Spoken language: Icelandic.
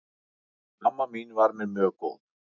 Amma mín var mér mjög góð.